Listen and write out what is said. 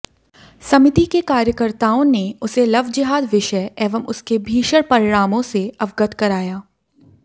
समितिके कार्यकर्ताओंने उसे लवजिहाद विषय एवं उसके भीषण परिणामोंसे अवगत कराया